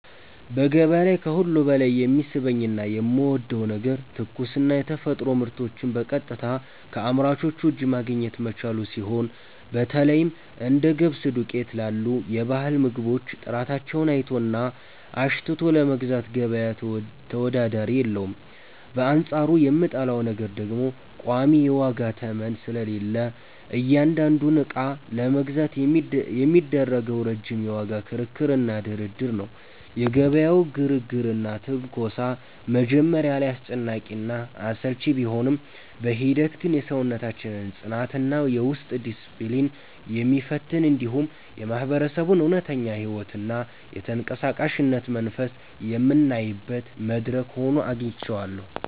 በገበያ ላይ ከሁሉ በላይ የሚስበኝና የምወደው ነገር ትኩስና የተፈጥሮ ምርቶችን በቀጥታ ከአምራቹ እጅ ማግኘት መቻሉ ሲሆን፣ በተለይም እንደ ገብስ ዱቄት ላሉ የባህል ምግቦች ጥራታቸውን አይቶና አሽትቶ ለመግዛት ገበያ ተወዳዳሪ የለውም፤ በአንጻሩ የምጠላው ነገር ደግሞ ቋሚ የዋጋ ተመን ስለሌለ እያንዳንዱን ዕቃ ለመግዛት የሚደረገው ረጅም የዋጋ ክርክርና ድርድር ነው። የገበያው ግርግርና ትንኮሳ መጀመሪያ ላይ አስጨናቂና አሰልቺ ቢሆንም፣ በሂደት ግን የሰውነታችንን ጽናትና የውስጥ ዲስፕሊን የሚፈትን፣ እንዲሁም የማህበረሰቡን እውነተኛ ሕይወትና የተንቀሳቃሽነት መንፈስ የምናይበት መድረክ ሆኖ አግኝቼዋለሁ።